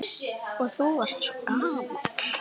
Og þú varst svo gamall.